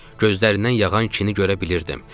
Gözlərindən yağan kini görə bilirdim.